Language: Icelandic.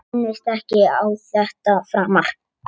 Minnist ekki á þetta framar.